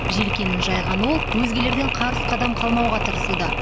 желкенін жайған ол өзгелерден қарыс қадам қалмауға тырысуда